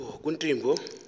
kuntimbo